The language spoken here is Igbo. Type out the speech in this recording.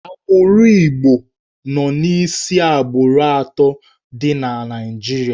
Agbụrụ Igbo so n'isi agbụrụ atọ dị na Naịjirịa.